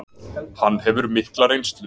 Hann hefur mikla reynslu